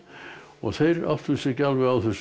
og þeir áttuðu sig ekki alveg á þessu